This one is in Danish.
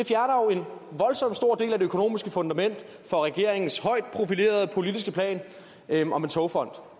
økonomiske fundament for regeringens højt profilerede politiske plan om en togfond